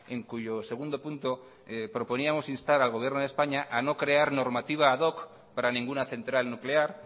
en cuyo segundo punto proponíamos instar al gobierno de españa a no crear normativa ad hoc para ninguna central nuclear